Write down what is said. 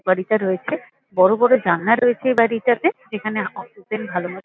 উপকারিতা রয়েছে বড়ো বড়ো জালনা রয়েছে এই বাড়িটাতে। যেখানে অক্সিজেন ভালো ম--